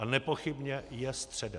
A nepochybně je středa.